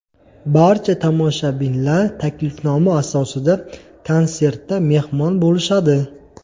Barcha tomoshabinlar taklifnoma asosida konsertda mehmon bo‘lishadi.